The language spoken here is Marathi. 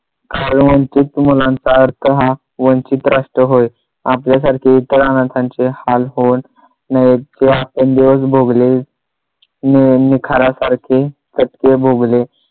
काही वंचित मुलांचा अर्थ हा वंचित असतो होय आपल्यासारखे इतरांना त्यांचे हाल होऊ नयेत जे आपण दिवस भोगले निखार्यासारखे तर ते भोगले